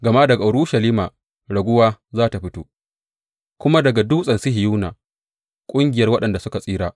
Gama daga Urushalima raguwa za tă fito, kuma daga Dutsen Sihiyona ƙungiyar waɗanda suka tsira.